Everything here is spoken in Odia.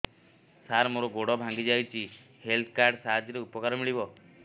ସାର ମୋର ଗୋଡ଼ ଭାଙ୍ଗି ଯାଇଛି ହେଲ୍ଥ କାର୍ଡ ସାହାଯ୍ୟରେ ଉପକାର ମିଳିବ